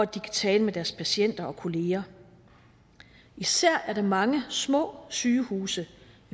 de kan tale med deres patienter og kolleger især er der mange små sygehuse